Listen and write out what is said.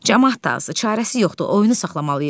Camaat da azdır, çarəsi yoxdur, oyunu saxlamalıyıq.